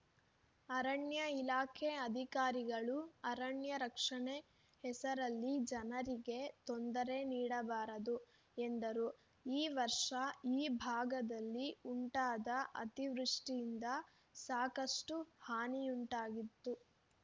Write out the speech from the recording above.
ಅರಣ್ಯ ಇಲಾಖೆ ಅಧಿಕಾರಿಗಳು ಅರಣ್ಯ ರಕ್ಷಣೆ ಹೆಸರಲ್ಲಿ ಜನರಿಗೆ ತೊಂದರೆ ನೀಡಬಾರದು ಎಂದರು ಈ ವರ್ಷ ಈ ಭಾಗದಲ್ಲಿ ಉಂಟಾದ ಅತಿವೃಷ್ಠಿಯಿಂದ ಸಾಕಷ್ಟುಹಾನಿಯುಂಟಾಗಿತ್ತು